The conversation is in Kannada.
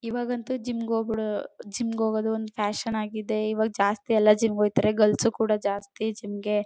ಇವಾಗಂತೂ ಜಿಮ್ ಗೆ ಹೋಗೋದು ಜಿಮ್ ಗೆ ಹೋಗೋದು ಒಂದು ಫ್ಯಾಷನ್ ಆಗಿದೆ ಇವಾಗ ಜಾಸ್ತಿ ಎಲ್ಲ ಜಿಮ್ ಗೆ ಹೋಗ್ತಾರೆ ಗರ್ಲ್ಸ್ ಕೂಡ ಜಾಸ್ತಿ ಜಿಮ್ ಗೆ.